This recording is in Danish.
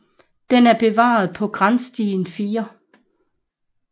Den er bevaret på Granstien 4